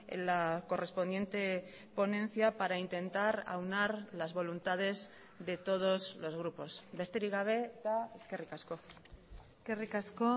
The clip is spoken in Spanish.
en la correspondiente ponencia para intentar aunar las voluntades de todos los grupos besterik gabe eta eskerrik asko eskerrik asko